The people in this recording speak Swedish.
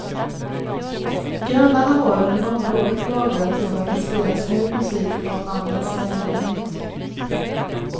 Grannarna har under många år klagat över att det spelas hög musik från mannens lägenhet.